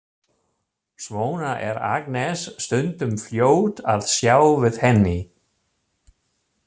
Svona er Agnes stundum fljót að sjá við henni.